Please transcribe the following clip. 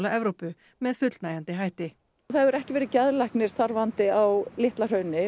Evrópu með fullnægjandi hætti það hefur ekki verið geðlæknir starfandi á Litla hrauni